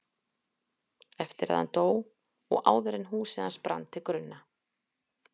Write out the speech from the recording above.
Eftir að hann dó og áður en húsið hans brann til grunna.